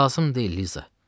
Lazım deyil, Liza.